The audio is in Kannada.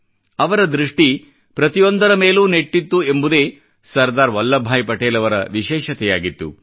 ಅವರ ದೃಷ್ಠಿ ಪ್ರತಿಯೊಂದರ ಮೇಲೂ ನೆಟ್ಟಿತ್ತು ಎಂಬುದೇ ಸರ್ದಾರ್ ವಲ್ಲಭ್ ಭಾಯಿ ಅವರ ವಿಶೇಷತೆಯಾಗಿತ್ತು